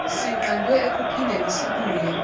sinqandwe ekuphindeni sibuye